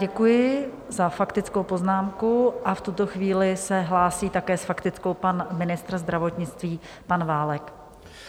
Děkuji za faktickou poznámku a v tuto chvíli se hlásí také s faktickou pan ministr zdravotnictví pan Válek.